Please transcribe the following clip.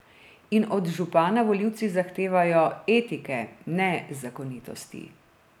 In od župana volivci zahtevajo etike, ne zakonitosti.